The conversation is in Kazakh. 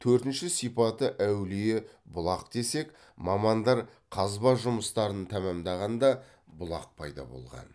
төртінші сипаты әулие бұлақ десек мамандар қазба жұмыстарын тәмамдағанда бұлақ пайда болған